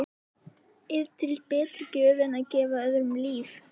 Er til betri gjöf en að gefa öðrum líf?